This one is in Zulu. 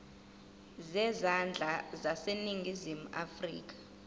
zezandla zaseningizimu afrika